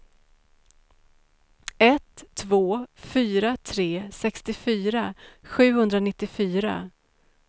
ett två fyra tre sextiofyra sjuhundranittiofyra